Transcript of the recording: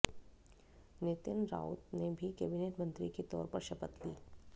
नितिन राउत ने भी कैबिनेट मंत्री के तौर पर शपथ ली